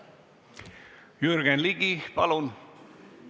Jürgen Ligi, palun!